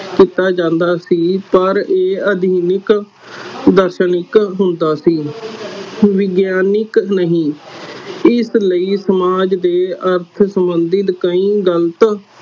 ਕੀਤਾ ਜਾਂਦਾ ਸੀ ਪਰ ਇਹ ਅਧੀਨਿਕ ਹੁੰਦਾ ਸੀ ਵਿਗਿਆਨਿਕ ਨਹੀਂ ਇਸਲਈ ਸਮਾਜ ਦੇ ਅਰਥ ਸੰਬੰਧਿਤ ਕਈ ਗ਼ਲਤ